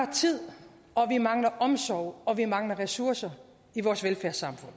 tid og vi mangler omsorg og vi mangler ressourcer i vores velfærdssamfund